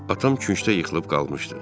Atam küncdə yıxılıb qalmışdı.